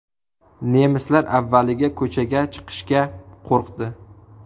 Nemislar avvaliga ko‘chaga chiqishga qo‘rqdi.